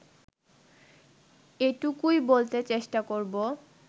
এটুকুই বলতে চেষ্টা করব